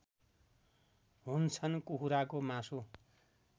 हुन्छन् कुखुराको मासु